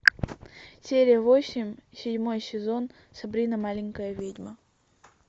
серия восемь седьмой сезон сабрина маленькая ведьма